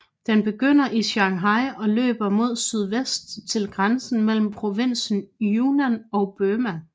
Den begynder i Shanghai og løber mod sydvest til grænsen mellem provinsen Yunnan og Burma